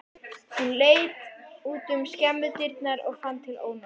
Hún leit út um skemmudyrnar og fann til ónota.